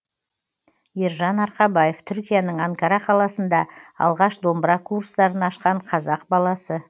ержан арқабаев түркияның анкара қаласында алғаш домбыра курстарын ашқан қазақ баласы